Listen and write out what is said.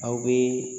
Aw bɛ